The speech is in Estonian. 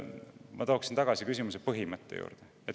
Ma tuleksin tagasi küsimuse põhimõtte juurde.